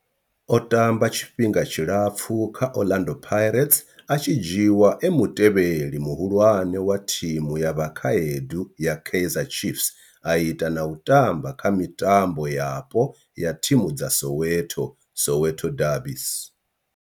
O tamba tshifhinga tshilapfhu kha Orlando Pirates, a tshi dzhiiwa e mutevheli muhulwane wa thimu ya vhakhaedu ya Kaizer Chiefs, a ita na u tamba kha mitambo yapo ya thimu dza Soweto Soweto derbies.